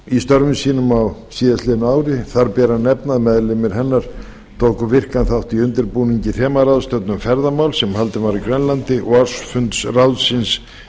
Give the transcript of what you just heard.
í störfum sínum á síðastliðnu ári þar ber að nefna að meðlimir hennar tóku virkan þátt í undirbúningi þemaráðstefnu um ferðamál sem haldin var á grænlandi og á ársfundi ráðsins